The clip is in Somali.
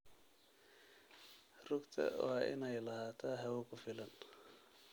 Rugta waa in ay lahaataa hawo ku filan.